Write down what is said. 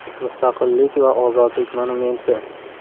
“Mustaqillik va ozodlik” monumenti.